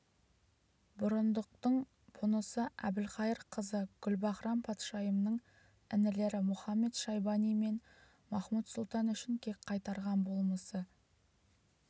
бұрындықтың бұнысы әбілқайыр қызы гүлбаһрам-патшайымның інілері мұхамед-шайбани мен махмуд-сұлтан үшін кек қайтарған болмысы